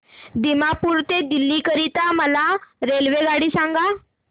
दिमापूर ते दिल्ली करीता मला रेल्वेगाडी सांगा